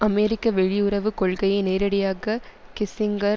அமெரிக்க வெளியுறவு கொள்கையை நேரடியாக கிஸ்ஸிங்கர்